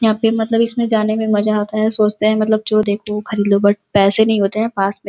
यहाँ पे मतलब इसमें जाने में मजा आता है सोचते हैं मतलब जो देखो वो खरीद लो बट पैसे नहीं होते हैं पास में।